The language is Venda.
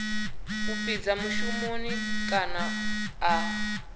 a fhidza mushumoni kana a